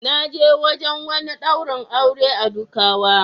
Na je wajen wani daurin aure a Dukawa.